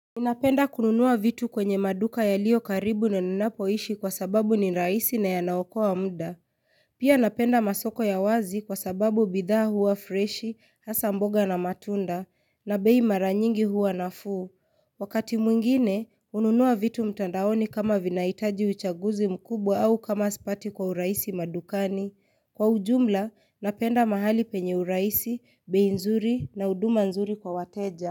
Napenda kununua vitu kwenye maduka yalio karibu na ninapoishi kwa sababu ni rahisi na yanaokoa mda. Pia napenda masoko ya wazi kwa sababu bidhaa huwa freshi, hasa mboga na matunda, na bei mara nyingi huwa nafuu. Wakati mwingine, ununua vitu mtandaoni kama vinahitaji uchaguzi mkubwa au kama sipati kwa urahisi madukani. Kwa ujumla, napenda mahali penye urahisi, bei nzuri na huduma nzuri kwa wateja.